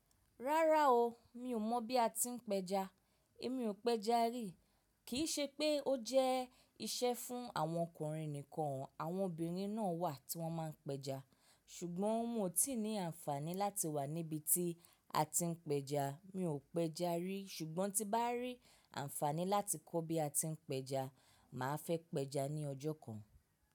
Rárá o, mi ò mọ̀ bí a ti ń pẹja. Èmi ò pẹja rí. Kì í ṣe pé ó jẹ́ iṣẹ́ fún àwọn ọkùnrin nìkan, àwọn obìnrin náà wà tí wọ́n máa ń pẹja. Ṣùgbọ́n mi o ti ní àǹfààní láti wà níbi tí a ti ń pẹja. Mi ò pẹja rí, ṣùgbọ́n tí bá rí àǹfààní láti kọ́ bí a ti ń pẹja, mà á fẹ́ pẹja ní ọjọ́ kan.